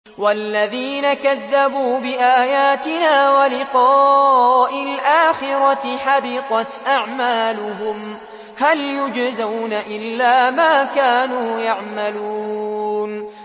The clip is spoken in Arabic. وَالَّذِينَ كَذَّبُوا بِآيَاتِنَا وَلِقَاءِ الْآخِرَةِ حَبِطَتْ أَعْمَالُهُمْ ۚ هَلْ يُجْزَوْنَ إِلَّا مَا كَانُوا يَعْمَلُونَ